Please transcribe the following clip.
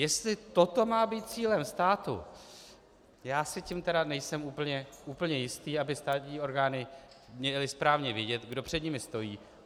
Jestli toto má být cílem státu, já si tím tedy nejsem úplně jistý, aby státní orgány měly správně vědět, kdo před nimi stojí.